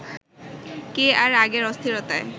কে আর আগের অস্থিরতায়